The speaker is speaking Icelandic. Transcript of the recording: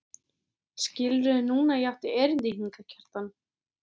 Skilurðu núna að ég átti erindi hingað, Kjartan?